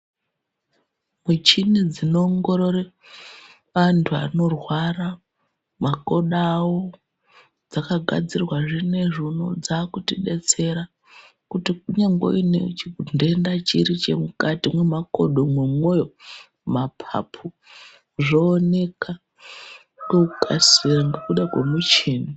Muchini dzinoongorore anhu anorwara makodo awo dzakagadzirwa zvinezvi unowu dzakutidetsera kuti kunyangwe uine chidhenda chiri chemukati mwemakodo, mwemwoyo ,mapapu zvooneka ngekukasira ngekuda kwemuchini.